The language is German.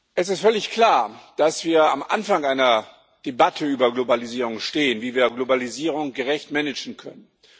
Es ist völlig klar, dass wir am Anfang einer Debatte über die Globalisierung stehen wie wir Globalisierung gerecht managen können.